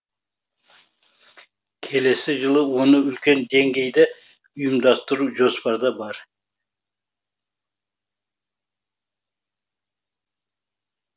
келесі жылы оны үлкен деңгейде ұйымдастыру жоспарда бар